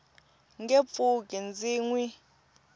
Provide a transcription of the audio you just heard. nge pfuki ndzi n wi